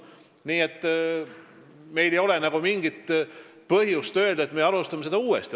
Nii et meil ei ole veel mingit põhjust öelda, et me alustame seda uuesti.